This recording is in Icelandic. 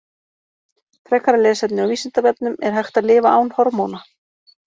Frekara lesefni á Vísindavefnum: Er hægt að lifa án hormóna?